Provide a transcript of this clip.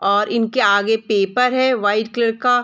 और इनके आगे पेपर है वाइट कलर का ।